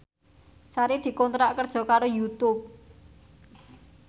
Sari dikontrak kerja karo Youtube